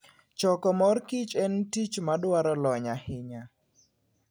Choko mor kich en tich madwaro lony ahinya.